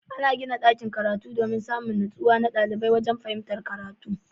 Ana gina dakin karatu domin Samin nutsuwa na ɗalibai wajan fahimtar karatu